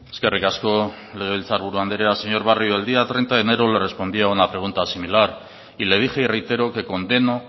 eskerrik asko legebiltzar buru andrea señor barrio el día treinta de enero le respondí a una pregunta similar y le dije y reitero que condeno